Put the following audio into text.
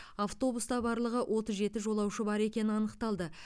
автобуста барлығы отыз жеті жолаушы бар екені анықталды